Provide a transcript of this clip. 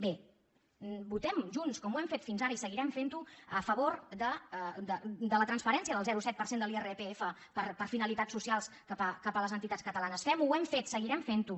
bé votem junts com ho hem fet fins ara i seguirem fent ho a favor de la transferència del zero coma set per cent de l’irpf per a finalitats socials cap a les entitats catalanes fem ho ho hem fet seguirem fent ho